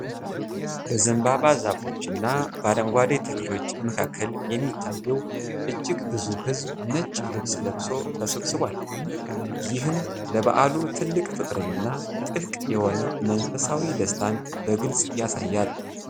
በዘንባባ ዛፎች እና በአረንጓዴ ተክሎች መካከል የሚታየው እጅግ ብዙ ሕዝብ ነጭ ልብስ ለብሶ ተሰብስቧል። ይህም ለበዓሉ ትልቅ ፍቅርንና ጥልቅ የሆነ መንፈሳዊ ደስታን በግልፅ ያሳያል።